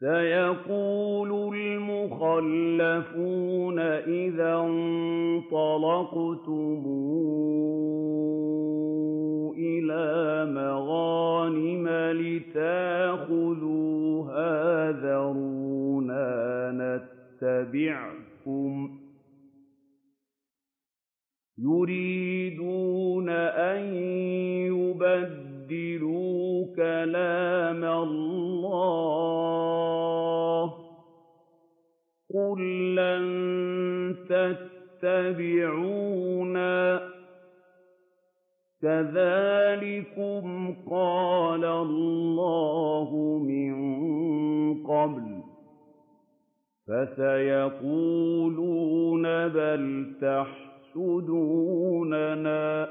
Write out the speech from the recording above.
سَيَقُولُ الْمُخَلَّفُونَ إِذَا انطَلَقْتُمْ إِلَىٰ مَغَانِمَ لِتَأْخُذُوهَا ذَرُونَا نَتَّبِعْكُمْ ۖ يُرِيدُونَ أَن يُبَدِّلُوا كَلَامَ اللَّهِ ۚ قُل لَّن تَتَّبِعُونَا كَذَٰلِكُمْ قَالَ اللَّهُ مِن قَبْلُ ۖ فَسَيَقُولُونَ بَلْ تَحْسُدُونَنَا ۚ